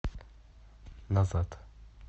назад